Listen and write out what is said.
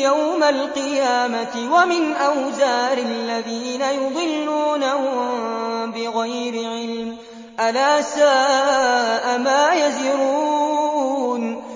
يَوْمَ الْقِيَامَةِ ۙ وَمِنْ أَوْزَارِ الَّذِينَ يُضِلُّونَهُم بِغَيْرِ عِلْمٍ ۗ أَلَا سَاءَ مَا يَزِرُونَ